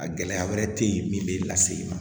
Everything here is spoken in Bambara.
A gɛlɛya wɛrɛ te yen min be lase i ma